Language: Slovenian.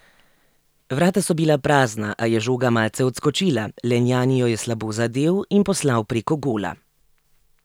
Vrata so bila prazna, a je žoga malce odskočila, Lenjani jo je slabo zadel in poslal prek gola.